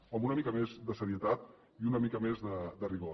home una mica més de serietat i una mica més de rigor